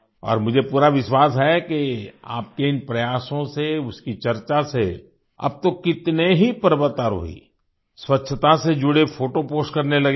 और मुझे पूरा विश्वास है कि आपके इन प्रयासों से उसकी चर्चा से अब तो कितने ही पर्वतारोही स्वच्छता से जुड़े फोटो पोस्ट करने लगे हैं